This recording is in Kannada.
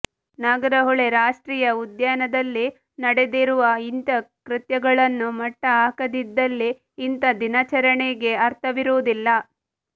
ನಾಗರಹೊಳೆ ರಾಷ್ಟ್ರೀಯ ಉದ್ಯಾನದಲ್ಲಿ ನಡೆದಿರುವ ಇಂಥಾ ಕೃತ್ಯಗಳನ್ನು ಮಟ್ಟ ಹಾಕದಿದ್ದಲ್ಲಿ ಇಂಥಾ ದಿನಾಚರಣೆಗೆ ಅರ್ಥವಿರುವುದಿಲ್ಲ